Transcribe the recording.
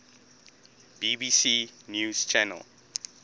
bbc news channel